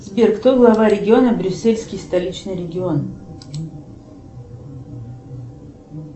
сбер кто глава региона брюссельский столичный регион